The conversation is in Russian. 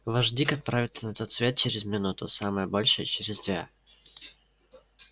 ваш дик отправится на тот свет через минуту самое большее через две